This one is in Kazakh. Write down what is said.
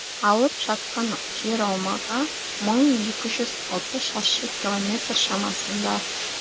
алып жатқан жер аумағы мың екі жүз алты шаршы километр шамасында